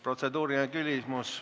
Protseduuriline küsimus.